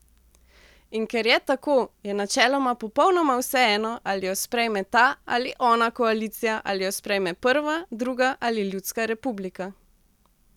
In ker je tako, je načeloma popolnoma vseeno, ali jo sprejme ta ali ona koalicija, ali jo sprejme prva, druga ali ljudska republika.